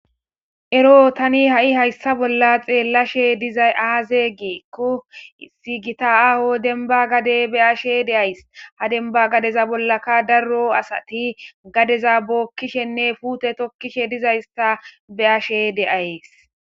Ero tani ha7i hayssa bolla xeellashe dizay aaze giikko issi giita aaho dembba gade beyashe deays ha dembba gadeza bollaka darro asati gadeza bookkishenne puute tokkishe dizaysa beashe deaysi.